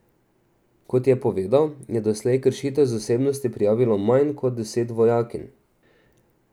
Kot je povedal, je doslej kršitev zasebnosti prijavilo manj kot deset vojakinj.